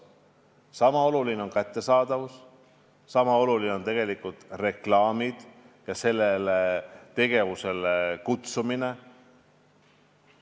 Niisama oluline on alkoholi kättesaadavust vähendada, niisama oluline on reklaame ja sellele tegevusele üleskutsumist vähendada.